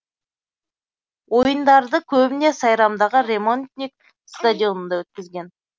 ойындарды көбіне сайрамдағы ремонтник стадионында өткізген